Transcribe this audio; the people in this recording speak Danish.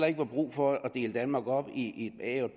ikke var brug for at dele danmark op i et a og